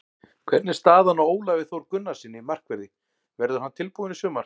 Hvernig er staðan á Ólafi Þór Gunnarssyni, markverði, verður hann tilbúinn í sumar?